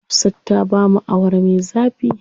Hafsa ta bamu Awara me zafi.